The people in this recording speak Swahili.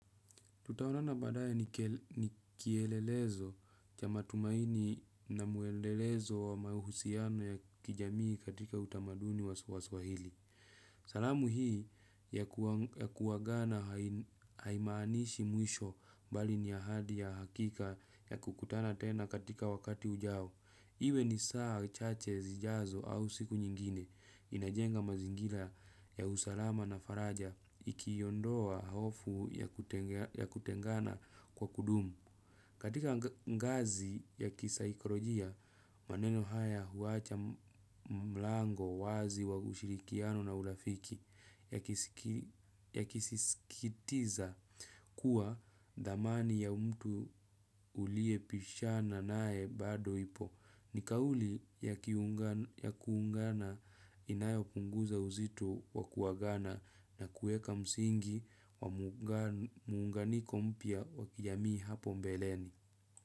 Tutaonana baadaye ni kielelezo cha matumaini na mwendelezo wa mahusiano ya kijamii katika utamaduni wa swahili. Salamu hii ya kuagana haimaanishi mwisho bali ni ahadi ya hakika ya kukutana tena katika wakati ujao. Iwe ni saa chache zijazo au siku nyingine inajenga mazingira ya usalama na faraja ikiondoa hofu ya kutengana kwa kudumu. Katika ngazi ya kisaikolojia, maneno haya huacha mlango wazi wa ushirikiano na urafiki yakisisitiza kuwa thamani ya mtu uliepishana naye bado ipo. Ni kauli ya kuungana inayopunguza uzito wa kuagana na kuweka msingi wa muunganiko mpya wa kijamii hapo mbeleni.